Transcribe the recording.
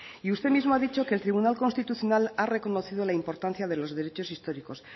y usted mismo ha dicho que el tribunal constitucional ha reconocido la importancia de los derechos históricos